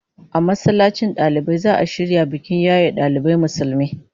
A masallacin dalibai za'a shirya bikin yaye dalibai Musulmi